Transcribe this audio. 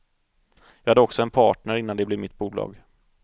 Jag hade också en partner innan det blev mitt bolag.